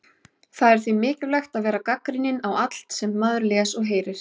Það er því mikilvægt að vera gagnrýninn á allt sem maður les og heyrir.